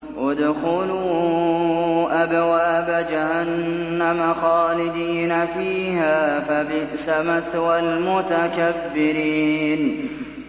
ادْخُلُوا أَبْوَابَ جَهَنَّمَ خَالِدِينَ فِيهَا ۖ فَبِئْسَ مَثْوَى الْمُتَكَبِّرِينَ